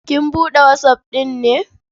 Kin buɗe WhatsApp ɗin ne?